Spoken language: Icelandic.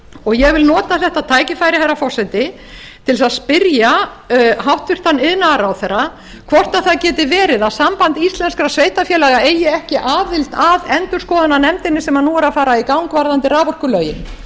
starfa ég vil nota þetta tækifæri herra forseti til þess að spyrja hæstvirtur iðnaðarráðherra hvort það geti verið að samband íslenskra sveitarfélaga eigi ekki aðild að endurskoðunarnefndinni sem nú er að fara í gang varðandi raforkulögin það